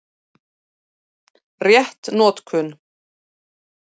Rétt notkun